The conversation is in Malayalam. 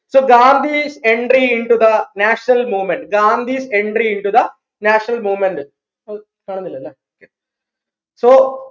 so Gandhi entry into the national movement Gandhi's entry into the national movement ഓഹ് കാണുന്നില്ലല്ലേ so